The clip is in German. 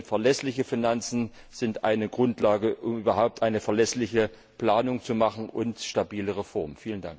Denn verlässliche Finanzen sind eine Grundlage, um überhaupt eine verlässliche Planung zu machen und stabile Reformen.